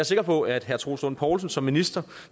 sikker på at herre troels lund poulsen som minister